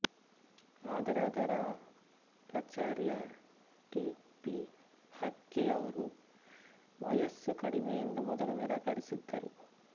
ಆದರೆ ಅದರ ಪ್ರಚಾರ್ಯ ಟಿ ಪಿ ಆಕ್ಕಿಯವರು ವಯಸ್ಸು ಕಡಿಮೆಯೆಂದು ಮೊದಲು ನಿರಾಕರಿಸಿದ್ದರು